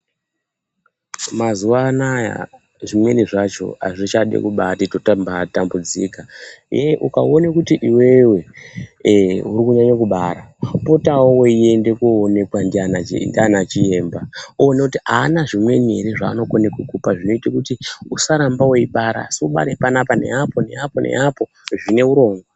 Mazuva ano aya zvimweni zvacho hazvichadi kubaati totabaatambudzikaa, ee ukaone kuti iwewe ee uri kunyanye kubara, unopotavo weiende kowoneka ndiana chiyemba, uone kuti haana zvimweni here zvaanokone kukupa zvinoito kuti usarambe weibara, asi ubare panapa, neapo neapo neapoo zvine urongwaa.